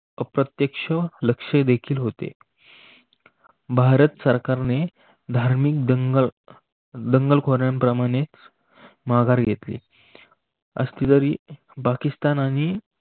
अप्रत्यक्ष लक्ष देखील होते. भारत सरकारने धार्मिक दंगल दंगल खोऱ्याप्रमाणे माघार घेतली. असली तरी पाकिस्तान आणि भारतीय